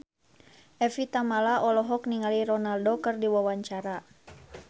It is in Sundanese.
Evie Tamala olohok ningali Ronaldo keur diwawancara